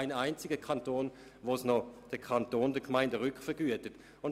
In drei Kantonen tragen die Gemeinden die Kosten.